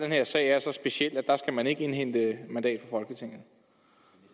her sag er så speciel at der skal man ikke indhente et mandat